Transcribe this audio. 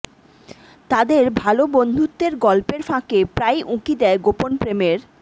তাদের ভালো বন্ধুত্বের গল্পের ফাঁকে প্রায়ই উঁকি দেয় গোপন প্রেমের